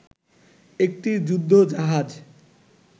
একটি যুদ্ধ জাহাজ